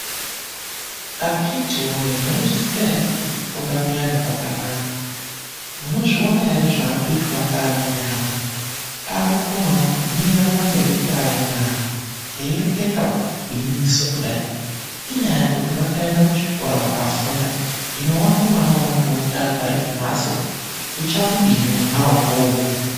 Akithi woye, mwaizviziya ere kuti kufunda kuyani kwakanaka? Munozviona ere zvaakuitwa ngeamweni ana akukonawo kumira pamberi peamweni antu eireketa gwingiso kudai. Inyaya yekuti vakaenda kuchikora vakafunda. Hino wako mwana unongomuti agare kumhatso. Uchamudini mwanawo uwowo?